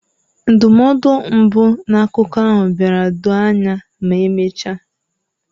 Ndụmọdụ mbụ na akụkọ ahụ bịara doo anya ma emechaa.